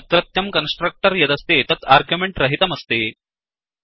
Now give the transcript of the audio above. अत्रत्यं कन्स्ट्रक्टर् यदस्ति तत् आर्ग्यूमेण्ट् रहितमस्ति